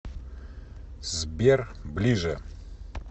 сбер ближе